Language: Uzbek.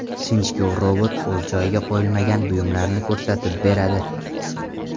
Sinchkov robot o‘z joyiga qo‘yilmagan buyumlarni ko‘rsatib beradi.